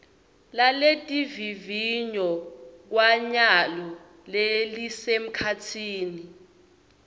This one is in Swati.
laletivivinyo kwanyalo lelisemkhatsini